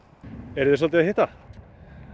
eruði svolítið að hitta